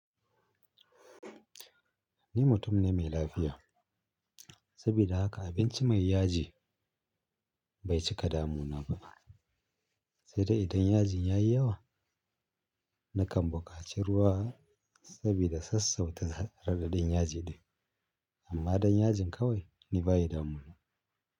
Ni mutum ne me lafiya saboda haka abinci mai yaji bai cika damuna ba sai de idan yajin yayi yawa nakan bukaci ruwa sabida sassauta yaji ɗin amma dan yajin kawai ni baya damuna.